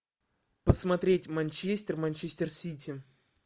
посмотреть манчестер манчестер сити